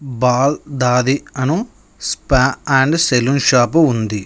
Ball దాది అను spa and salon shop ఉంది.